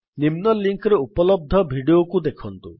ନିମ୍ନ ଲିଙ୍କ୍ ରେ ଉପଲବ୍ଧ ଭିଡିଓକୁ ଦେଖନ୍ତୁ